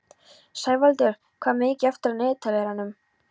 Sævaldur, hvað er mikið eftir af niðurteljaranum?